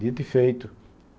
Dito e feito.